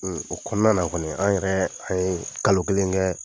O kɔnɔna na kɔni, an yɛrɛ an ye kalo kelen kɛ,